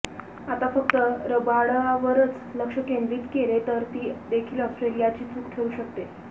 आता फक्त रबाडावरच लक्ष केंद्रित केले तर ती देखील ऑस्ट्रेलियाची चूक ठरु शकते